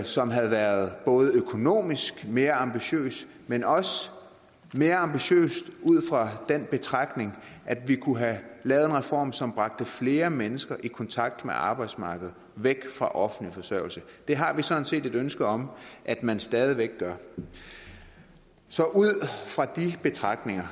som havde været både økonomisk mere ambitiøs men også mere ambitiøs ud fra den betragtning at vi kunne have lavet en reform som bragte flere mennesker i kontakt med arbejdsmarkedet og væk fra offentlig forsørgelse det har vi sådan set et ønske om at man stadig væk gør så ud fra de betragtninger